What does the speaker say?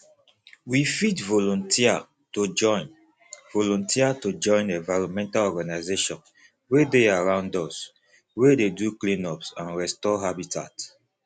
we fit volunteer to join volunteer to join environmental organisations wey dey around us wey dey do cleanups and restore habitat